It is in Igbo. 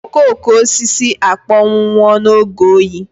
Okooko osisi akpọnwụwo n'oge oyi.